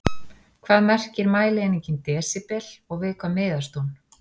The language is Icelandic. Hvað merkir mælieiningin desíbel og við hvað miðast hún?